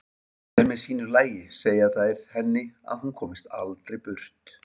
Hver með sínu lagi segja þær henni að hún komist aldrei burt.